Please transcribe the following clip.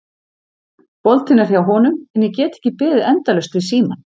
Boltinn er hjá honum en ég get ekki beðið endalaust við símann.